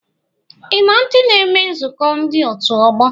Ị na ndị na-eme nzukọ ndị otu ọgbọ?